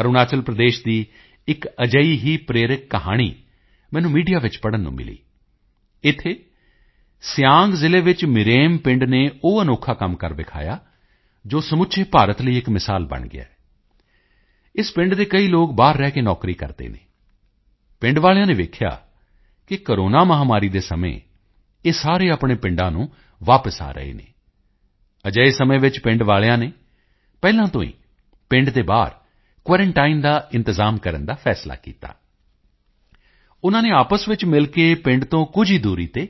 ਅਰੁਣਾਚਲ ਪ੍ਰਦੇਸ਼ ਦੀ ਇੱਕ ਅਜਿਹੀ ਹੀ ਪ੍ਰੇਰਕ ਕਹਾਣੀ ਮੈਨੂੰ ਮੀਡੀਆ ਵਿੱਚ ਪੜ੍ਹਨ ਨੂੰ ਮਿਲੀ ਇੱਥੇ ਸਿਆਂਗ ਜ਼ਿਲ੍ਹੇ ਵਿੱਚ ਮਿਰੇਮ ਪਿੰਡ ਨੇ ਉਹ ਅਨੋਖਾ ਕੰਮ ਕਰ ਦਿਖਾਇਆ ਜੋ ਸਮੁੱਚੇ ਭਾਰਤ ਦੇ ਲਈ ਇੱਕ ਮਿਸਾਲ ਬਣ ਗਿਆ ਹੈ ਇਸ ਪਿੰਡ ਦੇ ਕਈ ਲੋਕ ਬਾਹਰ ਰਹਿ ਕੇ ਨੌਕਰੀ ਕਰਦੇ ਹਨ ਪਿੰਡ ਵਾਲਿਆਂ ਨੇ ਦੇਖਿਆ ਕਿ ਕੋਰੋਨਾ ਮਹਾਮਾਰੀ ਦੇ ਸਮੇਂ ਇਹ ਸਾਰੇ ਆਪਣੇ ਪਿੰਡਾਂ ਨੂੰ ਵਾਪਸ ਆ ਰਹੇ ਹਨ ਅਜਿਹੇ ਸਮੇਂ ਵਿੱਚ ਪਿੰਡ ਵਾਲਿਆਂ ਨੇ ਪਹਿਲਾਂ ਤੋਂ ਹੀ ਪਿੰਡ ਦੇ ਬਾਹਰ ਕੁਆਰੰਟਾਈਨ ਦਾ ਇੰਤਜ਼ਾਮ ਕਰਨ ਦਾ ਫੈਸਲਾ ਕੀਤਾ ਉਨ੍ਹਾਂ ਨੇ ਆਪਸ ਵਿੱਚ ਮਿਲ ਕੇ ਪਿੰਡ ਤੋਂ ਕੁਝ ਹੀ ਦੂਰੀ ਤੇ